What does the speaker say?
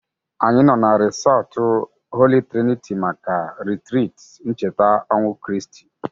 Anyị nọ na resọtụ Holi triniti maka ritriti ncheta ọnwụ Kriast